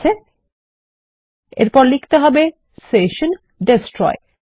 ঠিকাছে এবং এরপর লিখতে হবে সেশন ডেস্ট্রয়